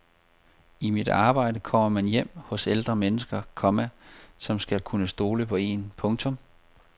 I mit arbejde kommer man hjem hos ældre mennesker, komma som skal kunne stole på en. punktum